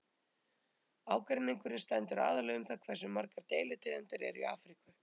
ágreiningurinn stendur aðallega um það hversu margar deilitegundir eru í afríku